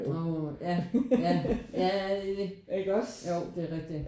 Uh ja ja ja ja det er det jo det er rigtigt